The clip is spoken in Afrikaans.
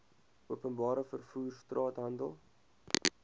openbare vervoer straathandel